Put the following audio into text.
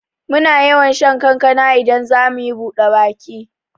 Muna yawan shan kankana idan zamuyi buɗe baki